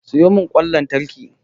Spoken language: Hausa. Sayo mun kwan lantraki